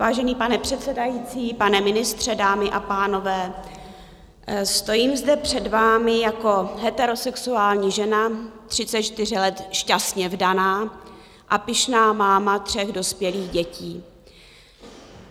Vážený pane předsedající, pane ministře, dámy a pánové, stojím zde před vámi jako heterosexuální žena, 34 let šťastně vdaná a pyšná máma tří dospělých dětí.